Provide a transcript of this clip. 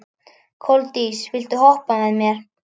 Koldís, viltu hoppa með mér?